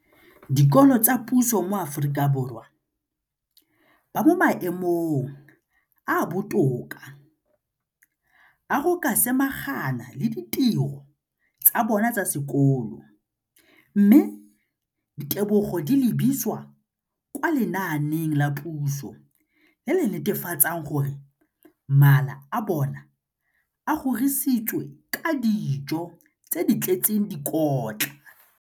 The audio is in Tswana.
Dikolo tsa puso mo Aforika Borwa ba mo maemong a a botoka a go ka samagana le ditiro tsa bona tsa sekolo, mme ditebogo di lebisiwa kwa lenaaneng la puso le le netefatsang gore mala a bona a kgorisitswe ka dijo tse di tletseng dikotla.